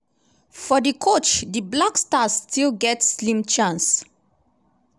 for di coach di blackstars still get slim chance.